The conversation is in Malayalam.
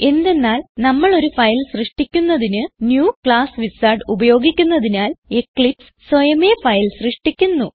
എന്തെന്നാൽ നമ്മൾ ഒരു ഫയൽ സൃഷ്ടിക്കുന്നതിന് ന്യൂ ക്ലാസ് വിസാർഡ് ഉപയോഗിക്കുന്നതിനാൽ എക്ലിപ്സ് സ്വയമേ ഫയൽ സൃഷ്ടിക്കുന്നു